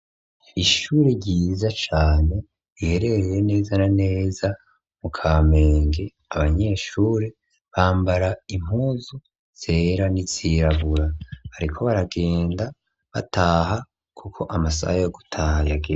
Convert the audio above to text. Ishuri ryiza cane ihereye neza na neza mu ka menge abanyeshure bambara impuzu zera ni zirabura, ariko baragenda bataha, kuko amasaha yo gutaha yageze.